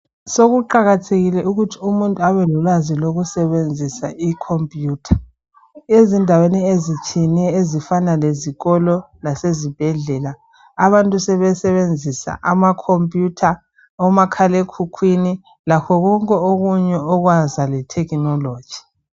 Sokuqakathekile ukuthi umuntu abelolwazi lokusebenzisa I computer , ezindaweni ezitshiyeneyo ezifana lezikolo lasezibhedlela abantu sebesebenzisa ama computer omakhalekhukhwini lakho konke okwaza le thekhinoloji